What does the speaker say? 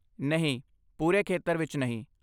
ਨਹੀਂ, ਪੂਰੇ ਖੇਤਰ ਵਿੱਚ ਨਹੀਂ।